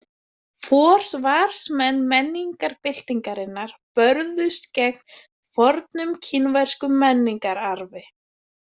Forsvarsmenn menningarbyltingarinnar börðust gegn fornum kínverskum menningararfi.